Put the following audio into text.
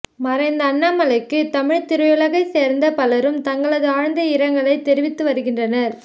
மறைந்த அண்ணாமலைக்கு தமிழ் திரையுலகை சேர்ந்த பலரும் தங்களது ஆழ்ந்த இரங்கலை தெரிவித்து வருகின்றனர்